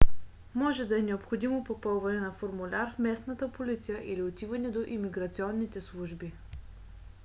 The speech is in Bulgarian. може да е необходимо попълване на формуляр в местната полиция или отиване до имиграционните служби